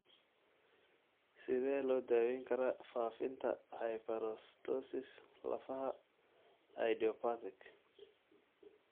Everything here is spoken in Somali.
Sidee loo daweyn karaa faafinta hyperostosis lafaha idiopathic?